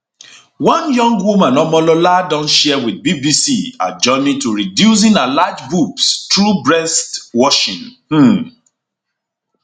one young woman omolola don share wit bbc her journey to reducing her large boobs through breast washing um